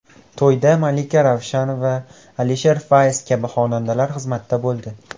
To‘yda Malika Ravshanova, Alisher Fayz kabi xonandalar xizmatda bo‘ldi.